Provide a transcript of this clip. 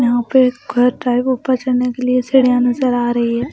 यहां पे घर टाइप ऊपर चलने के लिए सेड़ियां नजर आ रही है।